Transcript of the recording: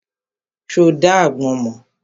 Ṣo dá agbọ́n mọ́?